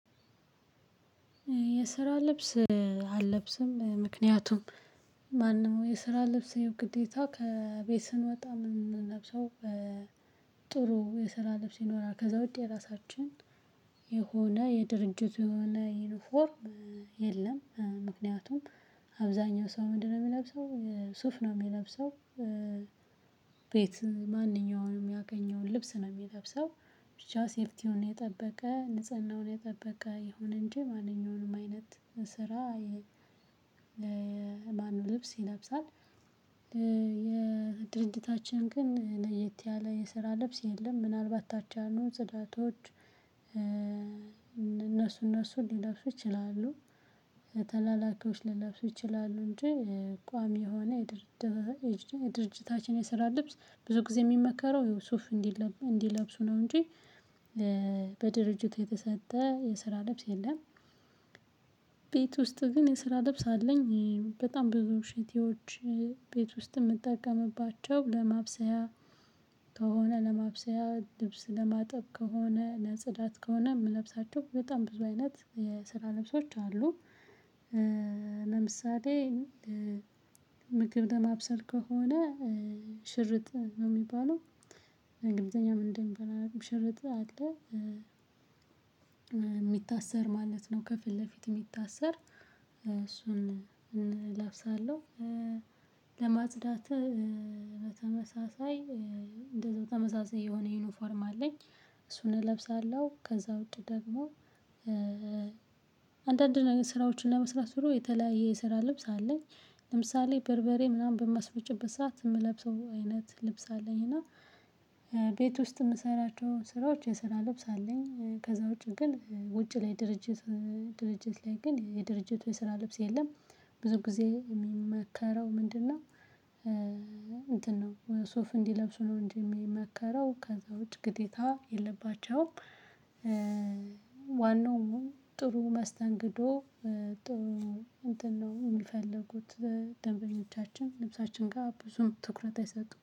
የስራ ልብስ አልለብስም ምክንያቱም ማንም የስራ ልብስ ግዴታ ከቤት ስንወጣ ምንለብሰው። ጥሩ የስራ ልብስ ይኖራል ከዛ ውጤት የራሳችን የሆነ የድርጅት የሆነ ዩኒፎርም የለም። ምክንያቱም አብዛኛው ሰው ምንድነው የሚለብሰው ሱፍ ነው የሚለብሰው። ቤት ማንኛውንም ያገኘውትን ልብስ ነው የሚለብሰው። ብቻ ሴፍቲውን የጠበቀ ንጽህናውን የጠበቀ የሆነ እንጂ ማንኛውንም አይነት ስራ ለማኑ ልብስ ይለብሳል። የድርጅታችን ግን ለየት ያለ የስራ ልብስ የለም። ምናልባት አቻ አሉ ጽዳቶች እነሱ እነሱ ሊለብሱ ይችላሉ። ተላላኪዎች ሊለብሱ ይችላሉ እንጂ። ቋሚ የሆነ የድርጅታችን የስራ ልብስ ብዙ ጊዜ የሚመከረው የሱፍ እንዲለብሱ ነው። እንጂ በድርጅት የተሰጠ የስራ ልብስ የለም። ቤት ውስጥ ግን የስራ ልብስ አለኝ በጣም ብዙ ሽቲዎች። ቤት ውስጥ የምጠቀምባቸው ለማብሰያ ከሆነ ለማብሰያ ልብስ ለማጠብ ከሆነ ለጽዳት ከሆነ የምለብሳቸው በጣም ብዙ አይነት የስራ ልብሶች አሉ። ለምሳሌ ምግብ ለማብሰል ከሆነ ሽርጥ ነው የሚባለው እንግሊዘኛ ምን እንደሚባል ሽርጥ አለ። የሚታሰር ማለት ነው ከፊት ለፊት የሚታሰር እሱን እለብሳለሁ። ለማጽዳት በተመሳሳይ እንደዛው ተመሳሳይ የሆነ ዩኒፎርም አለኝ። እሱን እለብሳለሁ ከዛ ወዲያ ደግሞ አንዳንድ ነገር ስራዎችን ለመስራት ብሎ የተለያየ የስራ ልብስ አለኝ። ለምሳሌ በርበሬ ምናምን በማስመጨበት ሰዓት የምለብሰው አይነት ልብስ አለኝ እና ውስጥ የምሰራቸውን ስራዎች የስራ ልብስ አለኝ። ከዛ ውጪ ግን ውጪ ላይ ድርጅት ላይ ግን የድርጅቱ የስራ ልብስ የለም። ብዙ ጊዜ የሚመከረው ምንድነው? ነው ሱፍ እንዲለብሱ ነው እንጂ የሚመከረው ከዛ ውጪ ግዴታ የለባቸውም። ዋናው ጥሩ መስተንግዶ ጥሩ እንትን ነው የሚፈልጉት። ደንበኞቻችን ልብሳችን ጋር ብዙም ትኩረት አይሰጡም